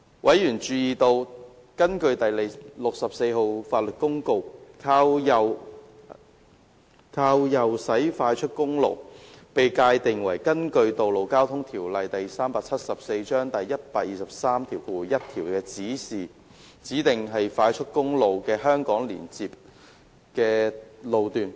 委員注意到，根據第64號法律公告，"靠右駛快速公路"被界定為根據《道路交通條例》第1231條指定為快速公路的香港連接路的路段。